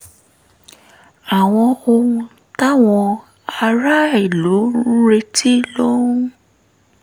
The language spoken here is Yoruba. àwọn ohun táwọn aráàlú ń retí ló ń